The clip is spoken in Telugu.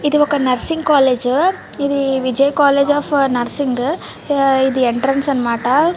ఇది ఒక నర్సింగ్ కాలేజీ ఇది విజయ్ కాలేజీ అఫ్ నర్సింగ్ ఇది ఎంట్రన్స్ అనమాట .